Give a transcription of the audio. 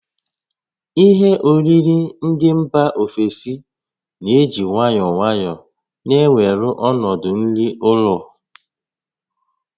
Ihe oriri ndị mba ofesi na-eji nwayọọ nwayọọ na-ewere ọnọdụ nri ụlọ